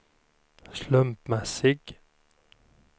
slumpmässig